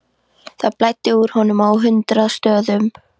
Það blæddi úr honum á hundrað stöðum.